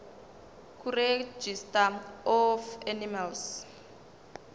kuregistrar of animals